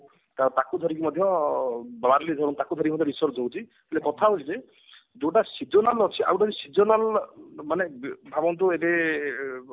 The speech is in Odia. ତ ତାକୁ ଧରିକି ମଧ୍ୟ ତାକୁ ଧରିକି ମଧ୍ୟ research ହଉଛି ହେଲେ କଥା ହଉଛି ଯେ ଯୋଉଟା sessional ଅଛି ଆଉଟେ ହଉଛି sessional ମାନେ ଭାବନ୍ତୁ ଏବେ ଅ